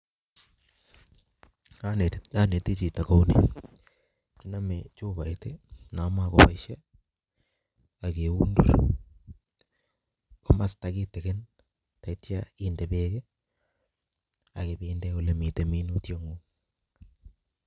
Aneti chito kou ni imane chuboit na makoboishe ak keundur komasta kitikin atya inde bek ii ak ibinde ole mitei minutikuk.